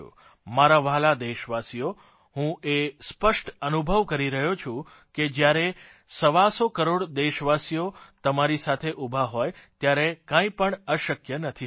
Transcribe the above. મારા વ્હાલા દેશવાસીઓ હું એ સ્પષ્ટ અનુભવ કરી રહ્યો છું કે જયારે સવાસો કરોડ દેશવાસી તમારી સાથે ઉભા હોય ત્યારે કંઇ પણ અશક્ય નથી હોતું